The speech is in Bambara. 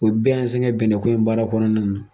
O bɛn se ka bɛnɛn ko ye baara kɔnɔna na.